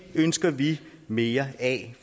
ønsker vi mere af